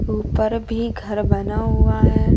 ऊपर भीं घर बना हुआ हैं।